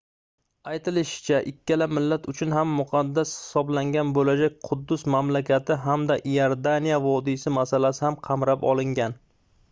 aytilishicha ikkala millat uchun ham muqaddas hisoblangan boʻlajak quddus mamlakati hamda iordaniya vodiysi masalasi ham qamrab olingan